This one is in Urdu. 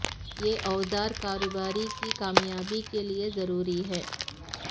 یہ اوزار کاروبار کی کامیابی کے لئے ضروری ہیں